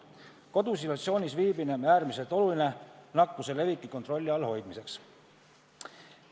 Kodus isolatsioonis viibimine on äärmiselt oluline nakkuse leviku kontrolli all hoidmiseks.